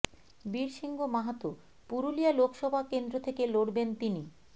বীর সিং মাহাতো পুরুলিয়া লোকসভাকেন্দ্র থেকে লড়বেন তিনি